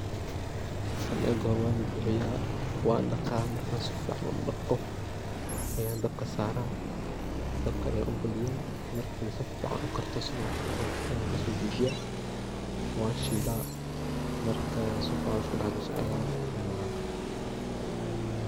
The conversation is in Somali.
Tan ega hore waan bibixiyaa, wan daqaa markan si fican u daqoo ayan dabka saraa, dabka ayan u badiyaa markey si fican u karto, si fican isku daxgasho ayan kaso dajiyaa wan shilaa markey si fican isku dax gasho ayan kaso dajiyaa markey si fican iksu dax gasho ayan cunaa.